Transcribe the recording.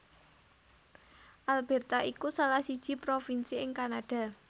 Alberta iku salah siji provinsi ing Kanada